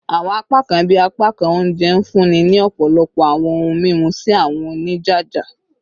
Awọn apakan bii apakan ounjẹ nfunni ni ọpọlọpọ awọn ohun mimu si awọn onijaja